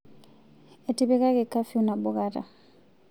Etipikaki kafiu nabo kata